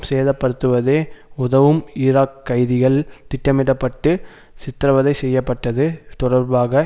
சேதப்படுத்துவதே உதவும் ஈராக் கைதிகள் திட்டமிட பட்டு சித்தரவதை செய்ய பட்டது தொடர்பாக